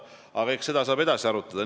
Aga eks seda saab edasi arutada.